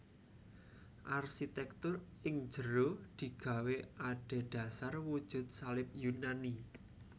Arsitèktur ing jero digawé adhedhasar wujud salib Yunani